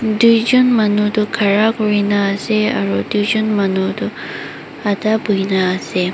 Doijun manu toh khara kurina ase aro doijun manu toh ada buhina ase.